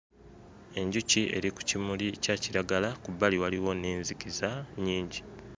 Enkuki eri ku kimuli kya kiragala ku bbali waliwo n'enzikiza nnyingi.